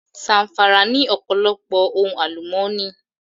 Zàm̀fàrà ní ọ̀pọ̀lọpọ̀ ohun àlùmọ́nì